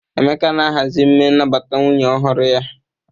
Emeka na-ahazi emume nnabata nwunye ọhụrụ ya.